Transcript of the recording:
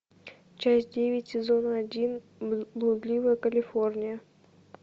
часть девять сезона один блудливая калифорния